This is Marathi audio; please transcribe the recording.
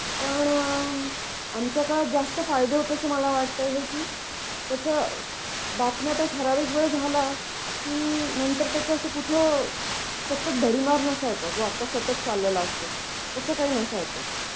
पण आमच्या काळात जास्त फायदे होतो असं मला वाटत आहे की त्याच बातम्या ठरावीक वेळ झाला की नंतर त्याच अस कुठ सतत भडीमार नसायचा जो आता सतत चाललेला असतो तसं काही नसायच.